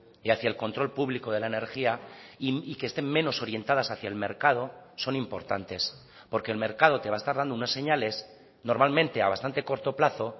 y hacia el control público de la energía y que estén menos orientadas hacia el mercado son importantes porque el mercado te va a estar dando unas señales normalmente a bastante corto plazo